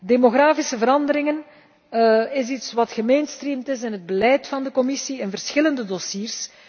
Demografische veranderingen is iets wat gemainstreamed is in het beleid van de Commissie in verschillende dossiers.